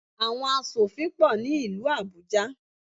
Àwọn asòfin pọ̀ ní ìlú Àbújá.